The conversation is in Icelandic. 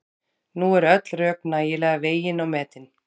Nú eru öll rök nægilega vegin og metin.